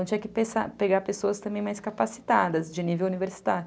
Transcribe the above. Então tinha que pensar, pegar pessoas também mais capacitadas, de nível universitário.